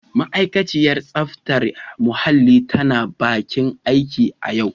Ma'aikaciyar tsaftar muhalli tana bakin aiki a yau.